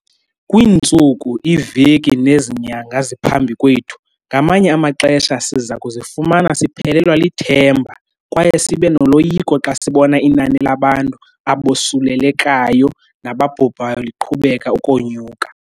Kwiintsuku, iiveki nezi nyanga ziphambi kwethu, ngamanye amaxesha siza kuzifumana siphelelwa lithemba kwaye sibe noloyiko xa sibona inani labantu abosulelekayo nababhubhayo liqhubeka ukonyuka.